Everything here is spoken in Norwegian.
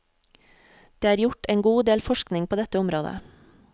Det er gjort en god del forskning på dette området.